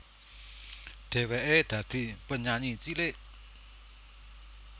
Dhèwèké dadi penyanyi cilik